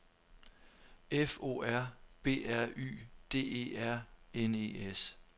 F O R B R Y D E R N E S